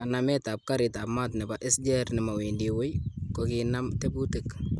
Kanamet ab garitab mat nebo SGR'nemowendi wui ,kokinam tebutik .